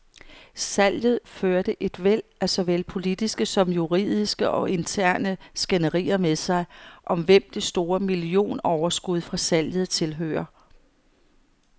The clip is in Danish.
Salget førte et væld af såvel politiske som juridiske og interne skænderier med sig, om hvem det store millionoverskud fra salget tilhører.